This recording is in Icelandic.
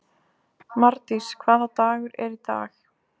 Mardís, hvaða dagur er í dag?